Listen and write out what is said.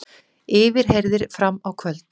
Yfirheyrðir fram á kvöld